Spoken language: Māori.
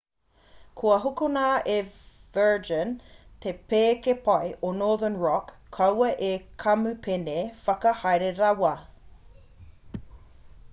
kua hokona e virgin te pēke pai o northern rock kaua ko te kamupene whakahaere rawa